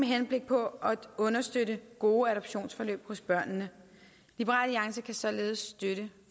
henblik på at understøtte gode adoptionsforløb hos børnene liberal alliance kan således støtte